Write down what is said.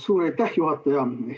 Suur aitäh, juhataja!